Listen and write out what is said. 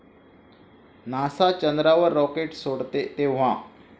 NASA चंद्रावर rocket सोडते तेंव्हा